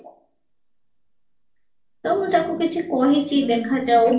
ତ ମୁଁ ଏଟକୁ କିଛି କହିଚି ଦେଖା ଯାଉ